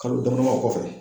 Kalo damadɔ o kɔfɛ